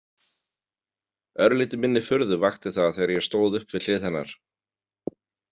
Örlítið minni furðu vakti það þegar ég stóð upp við hlið hennar.